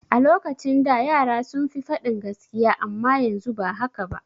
A lokacin da yara sun fi faɗin gaskiya amma yanzu ba haka ba.